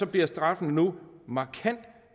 bliver straffene nu markant